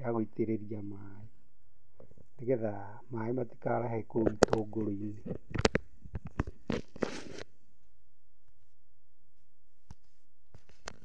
ya gũitĩrĩria maĩ, nĩgetha, maĩ matikarahe kou itũngũrũ-inĩ.